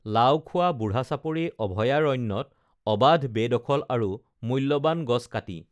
লাওখোৱা বুঢ়াচাপৰি অভয়াৰণ্যত অবাধ বেদখল আৰু মূল্যৱান গছ কাটি